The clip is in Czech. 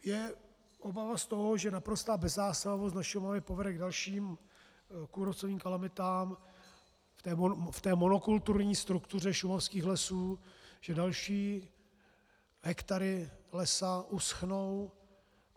Je obava z toho, že naprostá bezzásahovost na Šumavě povede k dalším kůrovcovým kalamitám v té monokulturní struktuře šumavských lesů, že další hektary lesa uschnou.